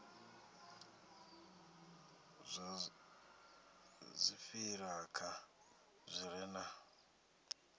zwa dziṱhirakha zwi re na